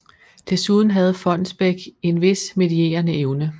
Desuden havde Fonnesbech en vis medierende evne